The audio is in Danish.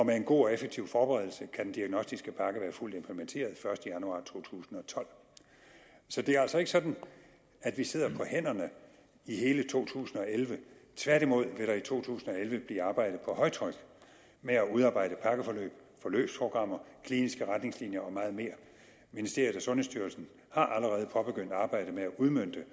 med en god og effektiv forberedelse kan den diagnostiske pakke være fuldt implementeret første januar to tusind og tolv så det er altså ikke sådan at vi sidder på hænderne i hele to tusind og elleve tværtimod vil der i to tusind og elleve blive arbejdet på højtryk med at udarbejde pakkeforløb forløbsprogrammer kliniske retningslinjer og meget mere ministeriet og sundhedsstyrelsen har allerede påbegyndt arbejdet med at udmønte